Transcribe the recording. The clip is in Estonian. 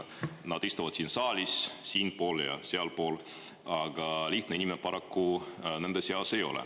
Nad istuvad siin saalis siinpool ja sealpool, aga lihtne inimene paraku nende seas ei ole.